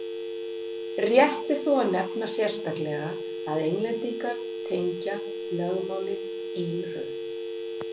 Rétt er þó að nefna sérstaklega að Englendingar tengja lögmálið Írum.